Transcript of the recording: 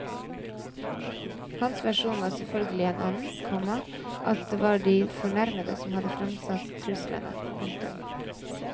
Hans versjon var selvfølgelig en annen, komma at det var de fornærmede som hadde framsatt truslene. punktum